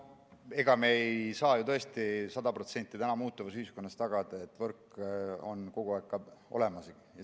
Ega me ei saa tõesti praeguses muutuvas ühiskonnas sada protsenti tagada, et võrk on kogu aeg olemas.